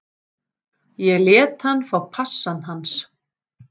Ég lét hann fá passann hans